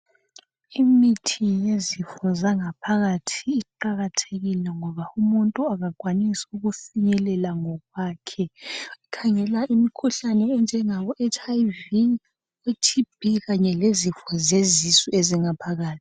Imithi yezifo zangaphakathi iqakathekile, ngoba umuntu kakwanisi ukuyifinyelela ngokwakhe. Khangela imikhuhlane enjengabo HIV, iTB, kanye lemikhuhlane yezifo zezisu ezingaphakathi.